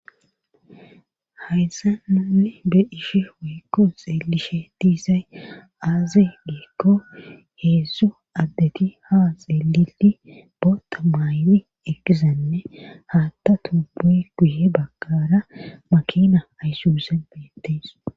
Hayssa nunne bediishe weekko xeelishe diisay aaze deekko heedzso addeti ha xeelii boota maayli eqqizanne haatta tubuy guye baggara makina aysuuse beyettes.